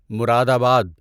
مراد آباد